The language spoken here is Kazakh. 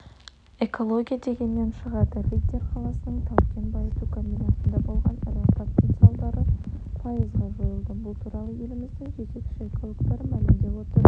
экология дегеннен шығады риддер қаласының тау-кен байыту комбинатында болған ірі апаттың салдары пайызға жойылды бұл туралы еліміздің жетекші экологтары мәлімдеп отыр